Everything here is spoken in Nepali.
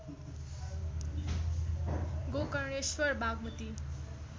गोकर्णेश्वर बागमती